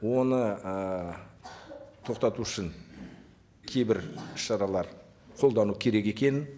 оны ы тоқтату үшін кейбір шаралар қолдану керек екенін